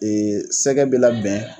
Ee sɛgɛ bɛ labɛn